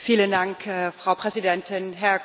Frau Präsidentin, Herr Kommissar!